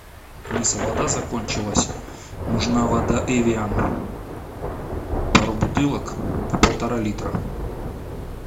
алиса вода закончилась нужна вода эвиан пару бутылок по полтора литра